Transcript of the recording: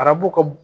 Arabu ka bon